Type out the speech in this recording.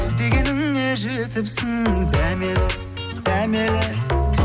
дегеніңе жетіпсің дәмелі дәмелі